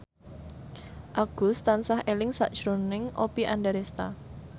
Agus tansah eling sakjroning Oppie Andaresta